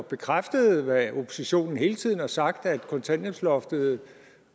bekræftede hvad oppositionen hele tiden har sagt nemlig at kontanthjælpsloftet